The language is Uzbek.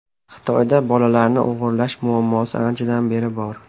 Xitoyda bolalarni o‘g‘irlash muammosi anchadan beri bor.